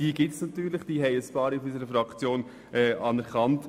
Diese gibt es, und einige Mitglieder unserer Fraktion haben sie anerkannt.